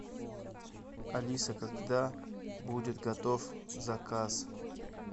алиса когда будет готов заказ